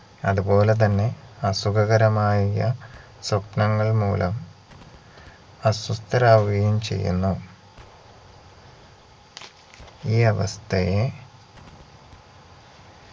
അതു പോലെതന്നെ അസുഖകരമായ സ്വപ്നങ്ങൾ മൂലം അസ്വസ്ഥരാവുകയും ചെയ്യുന്നു ഈ അവസ്ഥയെ